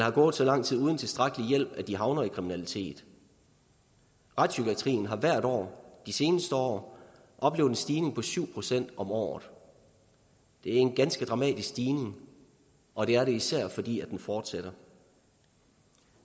er gået så lang tid uden tilstrækkelig hjælp at de havner i kriminalitet retspsykiatrien har hvert år de seneste år oplevet en stigning på syv procent om året det er en ganske dramatisk stigning og det er det især fordi den fortsætter